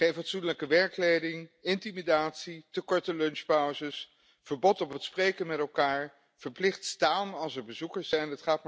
Geen fatsoenlijke werkkleding, intimidatie, te korte lunchpauzes, verbod op het spreken met elkaar, verplicht staan als er bezoekers zijn.